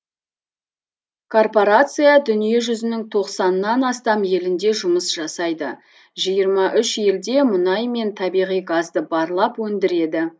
корпорация дүние жүзінің тоқсаннан астам елінде жұмыс жасайды жиырма үш елде мұнай мен табиғи газды барлап өндіреді